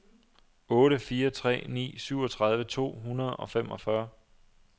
otte fire tre ni syvogtredive to hundrede og femogfyrre